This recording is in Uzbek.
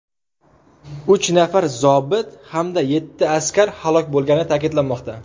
Uch nafar zobit hamda yetti askar halok bo‘lgani ta’kidlanmoqda.